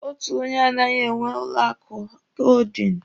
Otu onye anaghị enwe ụlọ akụ hoodin.